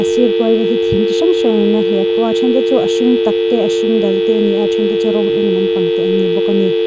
a sir kual vel hi thing ti hrang hrangin a hliah khuh a a thente chu a hring tak te a hring dal te a ni a a thente chu rawng eng lampang te an ni bawk a ni.